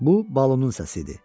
Bu Balunun səsi idi.